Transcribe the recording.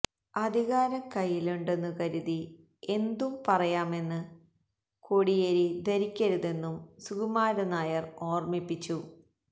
അധികാരം കൈയിലുണ്ടെന്നു കരുതി എന്തും പറയാമെന്ന് കോടിയേരി ധരിക്കരുതെന്നും സുകുമാരൻ നായർ ഓർമിപ്പിച്ചു